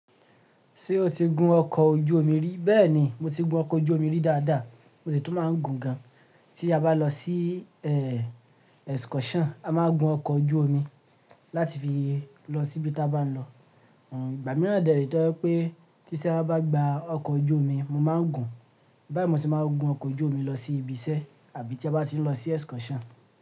Ṣé o ti gun ọkọ̀ ojú omi rí? Bẹ́ẹ̀ni, mo ti gun ọkọ̀ ojú omi rí dáadáa, mo sì tún máa ń gun gan. Tí a bá lọ sí excursion, a máa gun ọkọ̀ ojú omi láti fi lọ síbi tí a bá ń lọ. Ìgbà mìíràn dẹ̀, ètò ẹ pé tíṣẹ́ má bá gba ọkọ̀ ojú omi, mo máa ń gun. Bayii mo se máa ń gun ọkọ̀ ojú omi lọ sí ibi iṣẹ́ àbí tí a bá ti ń lọ sí excursion.